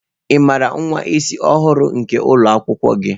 Ị maara nwa isi ọhụrụ nke ụlọ akwụkwọ gi?